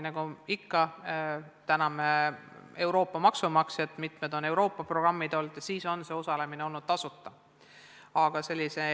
Nagu ikka, täname Euroopa maksumaksjat, mitmed Euroopa programmid on võimaldanud tasuta osalemist.